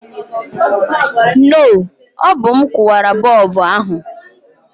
No, ọ bụ m kụwara bọlbụ ahụ